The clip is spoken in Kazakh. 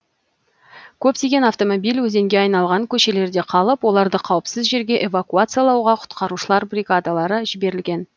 көптеген автомобиль өзенге айналған көшелерде қалып оларды қауіпсіз жерге эвакуациялауға құтқарушылар бригадалары жіберілген